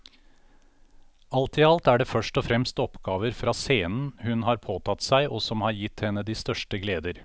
Alt i alt er det først og fremst oppgaver for scenen hun har påtatt seg og som har gitt henne de største gleder.